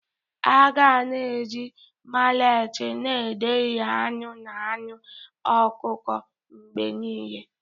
A ga na-eji maleti na ederi anụ na anụ ọkụkọ mgbe niile.